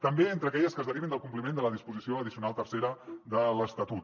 també entre aquelles que es derivin del compliment de la disposició addicional tercera de l’estatut